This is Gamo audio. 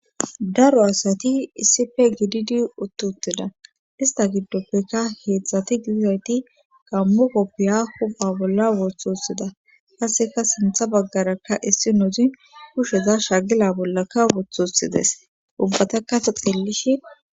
Daro asati issippe gididi utti uttida istta giddopekka heedzdzati gididayti gaammo koppiya huupha bolla wothi wothida qasseka sintha baggarakka issinnozi kushe ba shagila bollaka wothi wothides ubbatakka ta xeellishin.